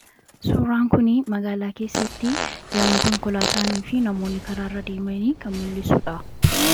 Suuraan kuni magaalaa keessatti yommuu konkolaataan fi namoonni karaa irra deemanii kan mul'isuudha.